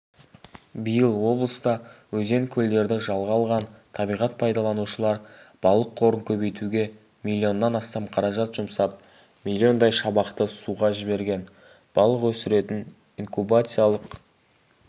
биыл облыста өзен-көлдерді жалға алған табиғат пайдаланушылар балық қорын көбейтуге млннан астам қаражат жұмсап млн-дай шабақты суға жіберген балық өсіретін инкубациялық